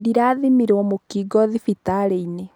Ndĩrathimirwa mũkingo thibitarĩinĩ.